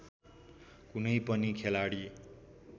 कुनै पनि खेलाडी